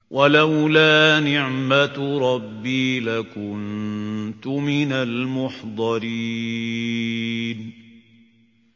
وَلَوْلَا نِعْمَةُ رَبِّي لَكُنتُ مِنَ الْمُحْضَرِينَ